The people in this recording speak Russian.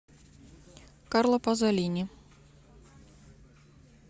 карло пазолини